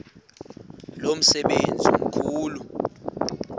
lo msebenzi mkhulu